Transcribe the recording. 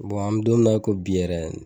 an mi dɔn mi na i ko bi yɛrɛ